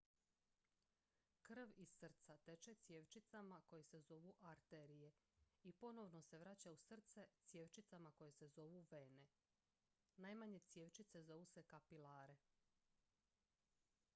krv iz srca teče cjevčicama koje se zovu arterije i ponovno se vraća u srce cjevčicama koje se zovu vene najmanje cjevčice zovu se kapilare